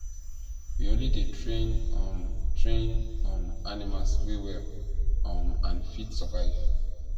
we only dey train um train um animals wey well um and fit survive